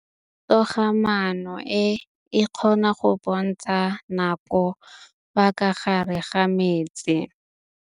Toga-maanô e, e kgona go bontsha nakô ka fa gare ga metsi.